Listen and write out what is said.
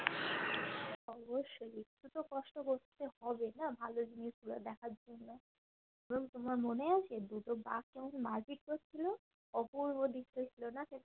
অবশ্যই একটু তো কষ্ট করতে হবেনা ভালো জিনিস গুলো দেখার জন্য তোমার মনে আছে দুটো বাঘ কেমন মারপিট করছিলো অপূর্ব দেখতে ছিল না সেটা